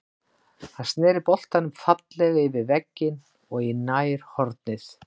Hann snéri boltann fallega yfir vegginn og í nærhornið.